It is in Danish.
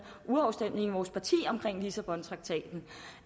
urafstemning i vores parti om lissabontraktaten